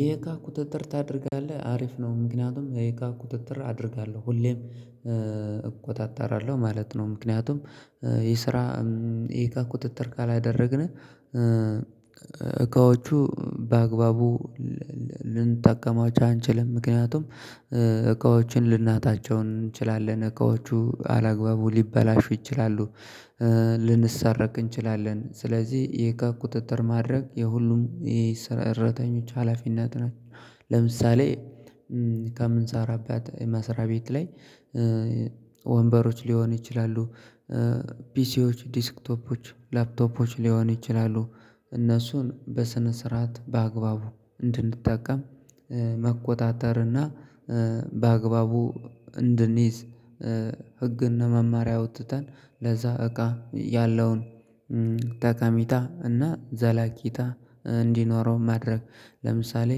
የእቃ ቁጥጥር ታደርጋለህ አሪፍ ነው ምክንያቱም የእቃ ቁጥጥር አደርጋለሁ ሁሌም እቆጣጠራለሁ ማለት ነው። ምክንያቱም ይሄ ስራ የእቃ ቁጥጥር ካላደረግን እቃዎቹ በአግባቡ ልንጠቀማቸው አንችልም። ምክንያቱም እቃዎችን ልናጣቸው እንችላለን እቃዎቹ አላግባቡ ሊበላሹ ይችላሉ። ልንሰረቅ እንችላለን ስለዚህ የእቃ ቁጥጥር ማድረግ የሁሉም የሰራተኞች ሀላፊነት ነው። ለምሳሌ ከምንሰራበት መስሪያ ቤት ላይ ወንበሮች ሊሆኑ ይችላሉ። ፒሲዎች ዴስክቶፖች ላፕቶፖች ሊሆኑ ይችላሉ። እነሱን በስነ ስርዓት በአግባቡ እንድንጠቀም መቆጣጠር እና በአግባቡ እንድንይዝ ህግ እና መመሪያ አውጥተን ለዛ እቃ ያለውን ጠቀሜታ እና ዘለቄታ እንዲኖረው ማድረግ። ለምሳሌ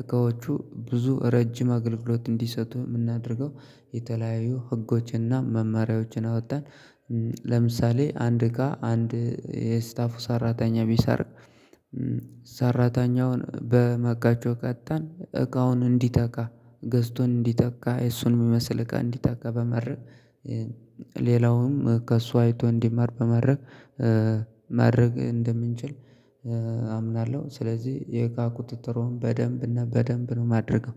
እቃዎቹ ብዙ ረጅም አገልግሎት እንዲሰጡ የምናደርገው የተለያዩ ህጎች እና መማሪያዎችን አውተን። ለምሳሌ አንድ እቃ አንድ የስታፉ ሰራተኛ ቢሰርቅ ሰራተኛውን በመቀጮ ቀጥተን እቃውን እንዲተካ ገዝቶን እንዲተካ እሱን የሚመስል እቃ እንዲተካ በማድረግ ሌላውም ከእሱ አይቶ እንዲማር በማድረግ ማድረግ እንደምንችል አምናለሁ። ስለዚህ የእቃ ቁጥጥሩን በደንብ እና በደንብ ነው የማደርገው።